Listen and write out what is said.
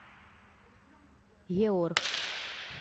еорх